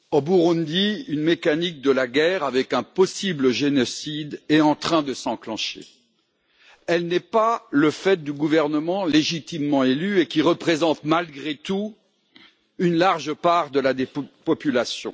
Monsieur le Président, au Burundi une mécanique de la guerre, avec un possible génocide, est en train de s'enclencher. Elle n'est pas le fait du gouvernement légitimement élu et qui représente, malgré tout, une large part de la population.